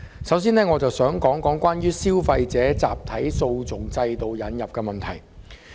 首先，我想討論引入消費者集體訴訟機制一事。